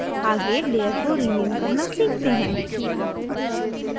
आगे layer को rename करना सीखते हैं